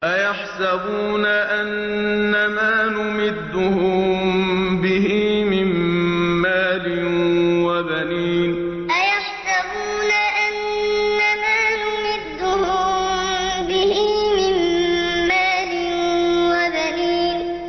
أَيَحْسَبُونَ أَنَّمَا نُمِدُّهُم بِهِ مِن مَّالٍ وَبَنِينَ أَيَحْسَبُونَ أَنَّمَا نُمِدُّهُم بِهِ مِن مَّالٍ وَبَنِينَ